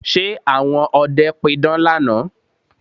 Ṣe àwọn ọdẹ pidán lánàá?